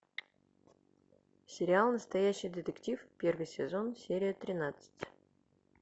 сериал настоящий детектив первый сезон серия тринадцать